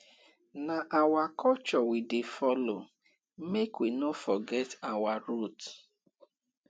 na our culture we dey follow make we no forget our roots